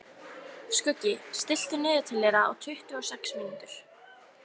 Skuggi, stilltu niðurteljara á tuttugu og sex mínútur.